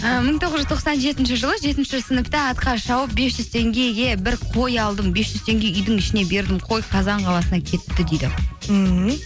і мың тоғыз жүз тоқсан жетінші жылы жетінші сыныпта атқа шауып бес жүз теңгеге бір қой алдым бес жүз теңге үйдің ішіне бердім қой қазан қаласына кетті дейді мхм